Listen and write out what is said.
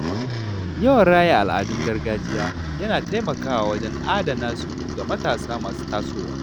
Yawan raya al’adun gargajiya yana taimakawa wajen adana su ga matasa masu tasowa.